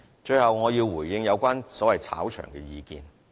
最後我要回應有關所謂"炒場"的意見。